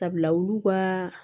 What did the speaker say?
Sabula olu ka